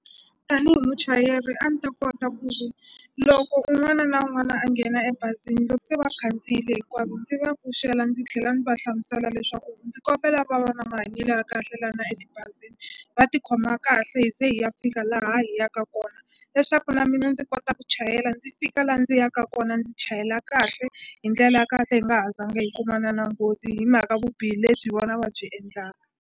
Tanihi muchayeri a ni ta kota ku loko un'wana na un'wana a nghena ebazini loko se va khandziyile hinkwavo ndzi va pfuxela ndzi tlhela ndzi va hlamusela leswaku ndzi kombela va va na mahanyelo ya kahle lana etibazini va tikhoma kahle hi ze hi ya fika laha yi yaka kona leswaku na mina ndzi kota ku chayela ndzi fika la ndzi yaka kona ndzi chayela kahle hi ndlela ya kahle hi nga ha zanga hi kumana na nghozi hi mhaka vubihi lebyi hi vona va byi endlaka.